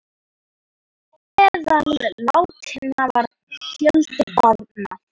Meðal látinna var fjöldi barna.